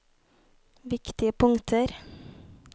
viktige punkter